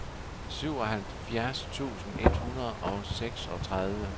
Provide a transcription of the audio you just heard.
syvoghalvfjerds tusind et hundrede og seksogtredive